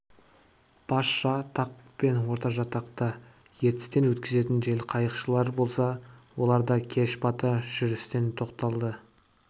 басжатақ пен ортажатақта ертістен өткізетін желқайықшылар болса олар да кеш бата жүрістен тоқталады